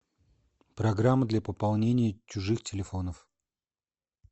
программа для пополнения чужих телефонов